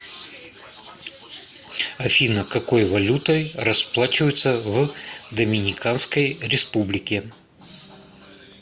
афина какой валютой расплачиваются в доминиканской республике